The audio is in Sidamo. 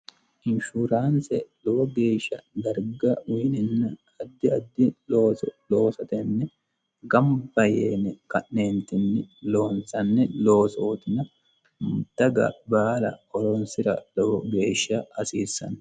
inshuraanse lowo geeshsha darga uyinenna addi addi looso loosa tenne gamba yeene ka'neentinni loonsanni loosootina daga baala hhoroonsira lowo geeshsha hasiissanno